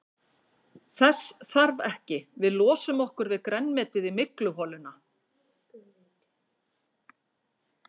Þess þarf ekki, við losum okkur við grænmetið í mygluholuna.